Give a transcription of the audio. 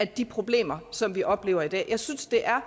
de problemer som vi oplever i dag jeg synes det er